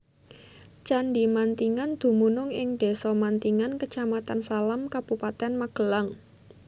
Candhi Mantingan dumunung ing Desa Mantingan Kecamatan Salam Kabupatèn Magelang